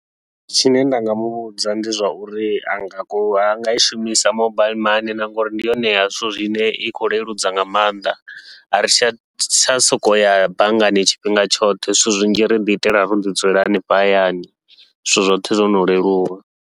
Tshine nda nga muvhudza ndi zwauri anga ku anga i shumisa mobile mani, ngauri ndi yone ya zwithu zwine i khou leludza nga maanḓa a ri tsha tsha sokou ya banngani tshifhinga tshoṱhe, zwithu zwinzhi riḓi itela roḓi dzulela hanefha hayani zwithu zwoṱhe zwono leluwa.